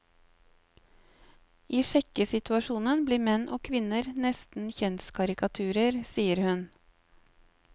I sjekkesituasjonene blir menn og kvinner nesten kjønnskarikaturer, sier hun.